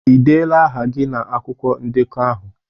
Ịdela aha gị na akwụkwọ ndekọ ahụ?